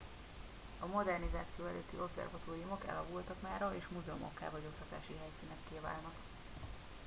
a modernizáció előtti obszervatóriumok elavultak mára és múzeumokká vagy oktatási helyszínekké válnak